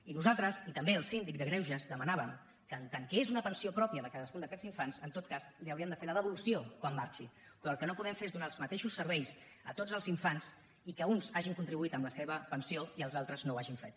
i nosaltres i també el síndic de greuges demanàvem que en tant que és una pensió pròpia de cadascun d’aquests infants en tot cas li n’hauríem de fer la devolució quan marxi però el que no podem fer és donar els mateixos serveis a tots els infants i que uns hi hagin contribuït amb la seva pensió i els altres no ho hagin fet